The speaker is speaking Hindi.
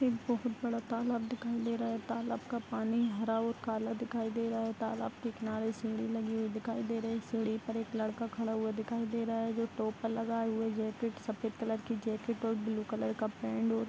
एक बहुत बड़ा तालाब दिखाई दे रहा है तालाब का पानी हरा और काला दिखाई दे रहा है तालाब के किनारे सीढ़ी लगी हुई दिखाई दे रही है सीढ़ी पर एक लड़का खड़ा हुआ दिखाई दे रहा है जो टोपा लगाये हुए जैकेट सफ़ेद कलर की जैकेट और ब्लू कलर का पेंट और --